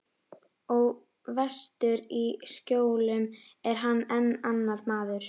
Og vestur í Skjólum er hann enn annar maður.